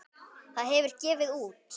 Það hefur gefið út